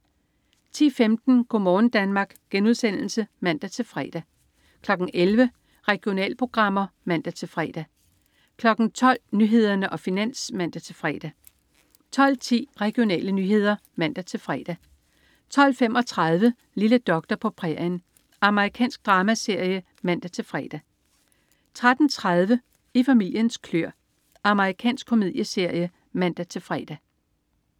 10.15 Go' morgen Danmark* (man-fre) 11.00 Regionalprogrammer (man-fre) 12.00 Nyhederne og Finans (man-fre) 12.10 Regionale nyheder (man-fre) 12.35 Lille doktor på prærien. Amerikansk dramaserie (man-fre) 13.30 I familiens kløer. Amerikansk komedieserie (man-fre)